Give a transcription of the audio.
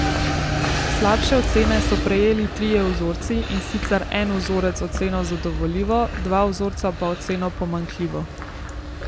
Slabše ocene so prejeli trije vzorci, in sicer en vzorec oceno zadovoljivo, dva vzorca pa oceno pomanjkljivo.